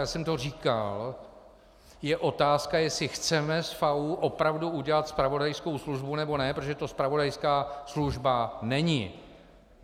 Já jsem to říkal, je otázka, jestli chceme z FAÚ opravdu udělat zpravodajskou službu, nebo ne, protože to zpravodajská služba není.